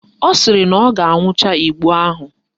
Ọ sịrị na ọ ga-aṅụcha igbo ahụ